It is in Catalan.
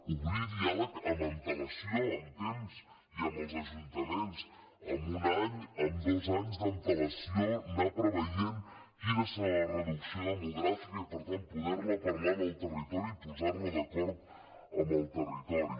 obrir diàleg amb antelació amb temps i amb els ajuntaments amb un any amb dos anys d’antelació anar preveient quina serà la reducció demogràfica i per tant poder la parlar en el territori i posar la d’acord amb el territori